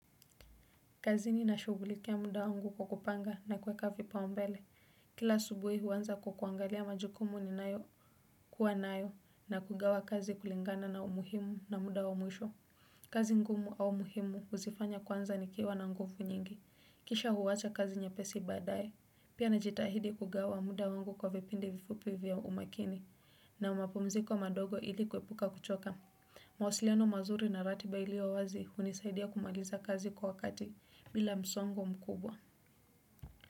Kazini na shugulikia muda wangu kwa kupanga na kuweka vipaumbele. Kila asubuhi huanza kwa kuangalia majukumu ni nayo kuwa nayo na kugawa kazi kulingana na umuhimu na muda wa mwisho. Kazi ngumu au muhimu uzifanya kwanza ni kiwa na nguvu nyingi. Kisha huwacha kazi nye pesi baadaye. Pia najitahidi kugawa muda wangu kwa vipindi vifupi vya umakini. Na umapumziko madogo ili kuepuka kuchoka. Mawasiliano mazuri na rati ba iliyowazi unisaidia kumaliza kazi kwa wakati bila msongo mkubwa.